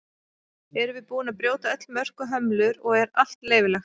erum við búin að brjóta öll mörk og hömlur og er allt leyfilegt